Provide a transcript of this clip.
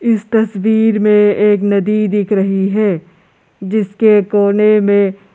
इस तस्वीर में एक नदी दिख रही है जिसके कोने में--